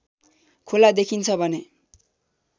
खोला देखिन्छ भने